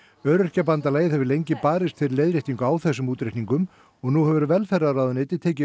Öryrkjabandalagið hefur lengi barist fyrir leiðréttingu á þessum útreikningum og nú hefur velferðarráðuneytið tekið